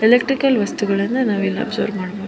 Electrical ವಸ್ತುಗಳನ್ನ ನಾವು ಇಲ್ಲಿ ಒಬ್ಸರ್ವ್ ಮಾಡ್ಬಹುದು.